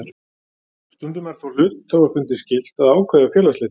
Stundum er þó hluthafafundi skylt að ákveða félagsslit.